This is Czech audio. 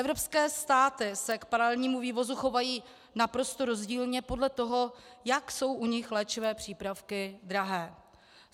Evropské státy se k paralelnímu vývozu chovají naprosto rozdílně podle toho, jak jsou u nich léčivé přípravky drahé.